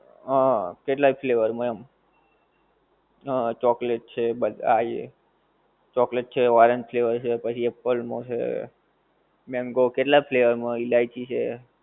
હં કેટલાય flavour માં એમ. હં ચોકલેટ છે બસ આ એ, ચોકલેટ છે, orange flavour છે પછી apple નો છે. mango કેટલા flavour માં હોય, ઈલાઈચી છે.